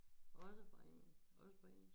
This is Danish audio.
Også fra en også fra 21